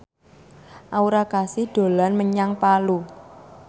Aura Kasih dolan menyang Palu